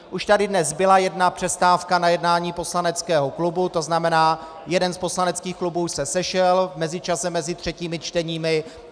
Už tady dnes byla jedna přestávka na jednání poslaneckého klubu, to znamená jeden z poslaneckých klubů se sešel v mezičase mezi třetími čteními.